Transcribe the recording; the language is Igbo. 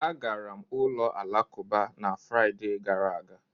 Agara m ụlọ alakụba na Fraịde gara aga.